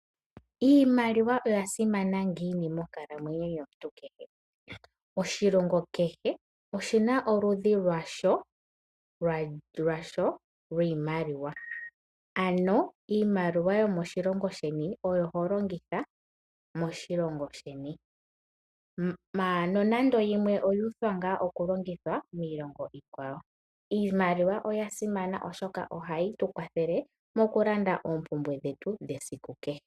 Iimaliwa oya simana ngiini monkalamwenyo yomuntu kehe? Oshilongo kehe oshina oludhi lwasho lwiimaliwa, ano iimaliwa yomoshilongo sheni oyo ho longitha moshilongo sheni, ashike nonando yimwe oyu uthwa ngaa oku longithwa miilongo iikwawo. Iimaliwa oya simana oshoka ohayi tu kwathele moku landa oompumbwe dhetu dhesiku kehe.